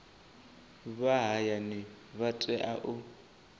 vha hayani vha tea u